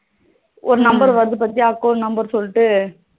ஒரு number வருது பாத்தியா account number னு சொல்ட்டு